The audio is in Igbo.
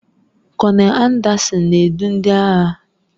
Kọnel Anderson na-edu ndị agha